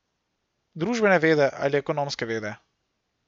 Družbene vede ali ekonomske vede?